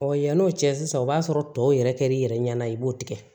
yann'o cɛ sisan o b'a sɔrɔ tɔw yɛrɛ kɛr'i yɛrɛ ɲɛna i b'o tigɛ